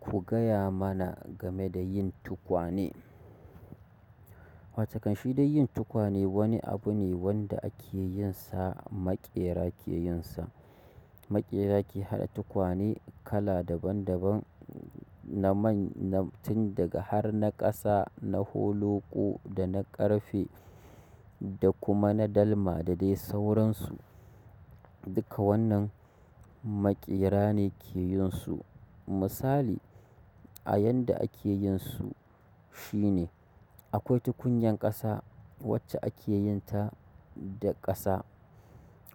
Ku gaya mana game da yin tukwane. Watakan shi dai yin tukwane wani abu ne wanda ake yin sa maƙera ke yin sa. Maƙera ke haɗa tukwane kala daban daban na man, na tun daga har na ƙasa, na holoko da na ƙarfe da kuma na dalma da dai sauransu. Duka wannan maƙera ne ke yin su. Misali a yanda ake yin su shine akwai tukunyan ƙasa wacce ake yin ta da ƙasa,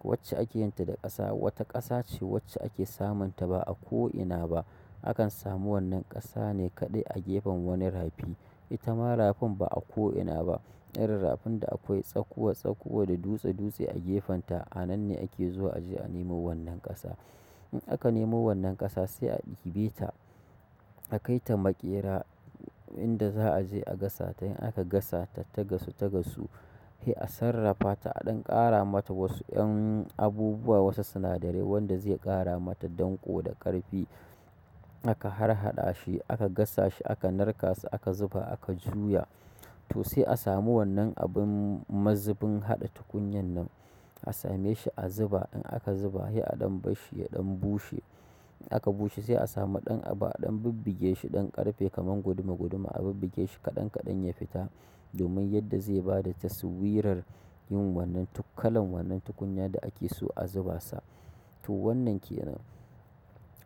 wacce ake yin ta da ƙasa. Wata ƙasa ce wacce ake samun ta ba a ko'ina ba. Akan samu wannan ƙasa ne kaɗai a gefen wani rafi. Ita ma rafin ba a ko'ina ba. Irin rafin da akwai tsakuwa tsakuwa da dutse dutse a gefen ta. A nan ne ake zuwa a je a nemo wannan ƙasa. In aka nemo wannan ƙasa sai a ɗibe ta, a kai ta maƙera inda za a je a gasa ta. In aka gasa ta tagasu tagasu, sai a sarrafa ta, a ɗan ƙara mata wasu 'yan abubuwa, wasu sinadarai wanda zai ƙara mata danƙo da ƙarfi. Aka harhaɗa shi, aka gasa shi, aka narka shi, aka zuba, aka juya. To sai a samu wannan abun mazubin haɗa tukunyar nan. A same shi, a zuba. In aka zuba, sai a ɗan barshi, ya ɗan bushe. Aka bushe sai a samu ɗan abu, aɗan bibbige shi ɗan ƙarfe kaman guduma guduma a bibbige shi kaɗan kaɗan ya fita domin yadda zai ba da taswirar yin wannan kalan wannan tukunya da ake so a zuba sa. To wannan ke nan.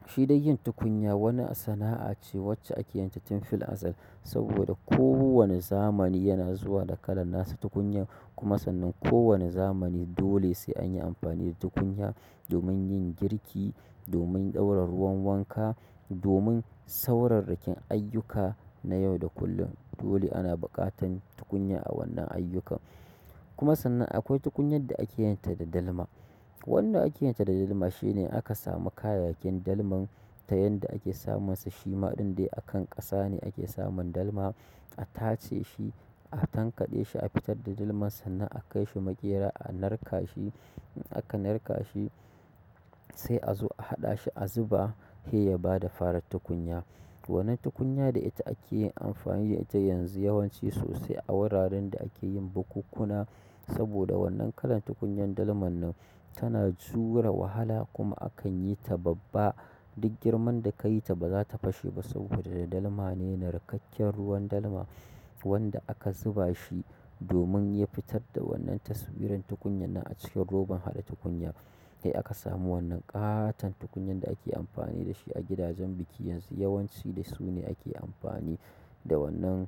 Shi dai yin tukunya wani sana'a ce wacce ake yin ta tun fil azal saboda kowane zamani yana zuwa da kalan nasa tukunya kuma sannan kowane zamani dole sai an yi amfani da tukunya domin yin girki, domin ɗaura ruwan wanka, domin sauranrakin ayyuka na yau da kullum. Dole ana buƙatan tukunya a wannan ayyukan. Kuma sannan akwai tukunyan da ake yin ta da dalma. Wanda ake yin ta da dalma shine aka samu kayayyakin dalman ta yanda ake samun sa. Shima ɗin dai akan ƙasa ne ake samun dalma. A tace shi, a tankade shi, a fitar da dalma sannan a kaishi maƙera a narka shi, in aka narka shi sai a zo a haɗa shi a zuba, sai ya fara bada tukunya. Wannan tukunya da ita ake yin amfani da ita yanzu wayanci sosai a wuraren da akeyin bukukkuna, saboda wannan kalar tukunyar dalmar nan tana jure wahala kuma akan yita babba. Duk girman da ka yi ta ba za ta fashe ba saboda da dalma ne, narkakken ruwan dalma wanda aka zuba shi domin ya fitar da wannan taswirar tukunyannan a cikin roban haɗa tukunya. Sai aka samu wannan ƙatan tukunyan da ake amfani da shi a gidajen biki yanzu. Yawanci da su ne ake amfani da wannan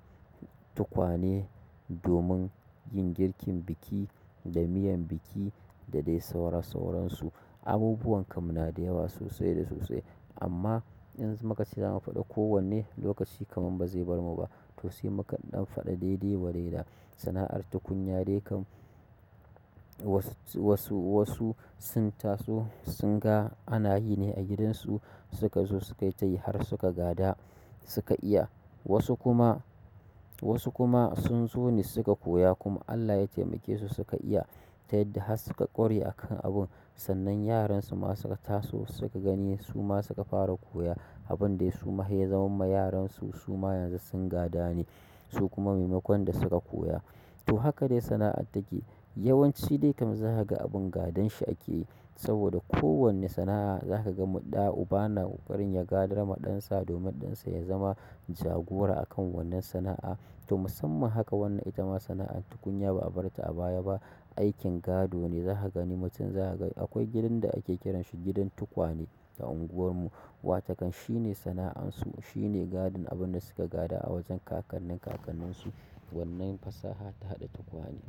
tukwane domin yin girkin biki da miyan biki da dai saura sauran su. Abubuwan kam na da yawa sosai da sosai amma in muka ce za mu faɗi kowanne lokaci kaman ba zai barmu ba. To sai muka dan faɗi dai dai wadaida. Sana'ar tukunya dai kam wasu, wasu, wasu sun taso, sun ga ana yi ne a gidansu suka zo suka yi har suka gada suka iya. Wasu kuma, wasu kuma sun so ne suka koya kuma Allah ya taimake su suka iya. Tayadda har suka ƙware akan abun, sannan yaran su ma suka taso suka gani suma suka fara koya abundai suma sai ya zamarwa yaran su suma yanzu sun gada ne su kuma maimakon da suka koya. To haka dai sana'ar take. Yawanci dai kam za ka ga abin gadan shi ake yi saboda kowane sana'a za ka ga ɗa uba na ƙoƙarin ya gadar ma ɗansa domin ɗansa ya zama jagora a kan wannan sana'a. To musamman haka wannan ita ma sana'ar tukunya ba a bar ta a baya ba. Aikin gado ne. Za ka gani mutum za ka ga akwai gidan da ake kiransa gidan tukwane a unguwar mu. Watakan shi ne sana'an su, shi ne gadon abin da suka gada a wajen kakannin kakannin su wannan fasaha ta haɗa tukwane.